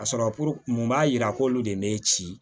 Ka sɔrɔ mun b'a yira ko olu de ye ne ci